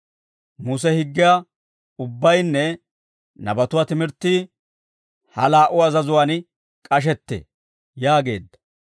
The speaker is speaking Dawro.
Muse higgiyaa ubbaynne nabatuwaa timirttii ha laa"u azazatuwaan k'ashettee» yaageedda.